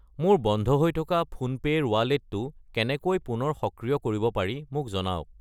মোৰ বন্ধ হৈ থকা ফোনপে' ৰ ৱালেটটো কেনেকৈ পুনৰ সক্ৰিয় কৰিব পাৰি মোক জনাওক।